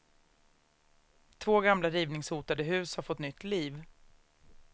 Två gamla rivningshotade hus har fått nytt liv.